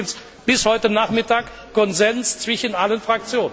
Das war übrigens bis heute Nachmittag Konsens zwischen allen Fraktionen